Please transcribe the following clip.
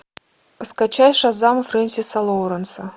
скачай шазам френсиса лоуренса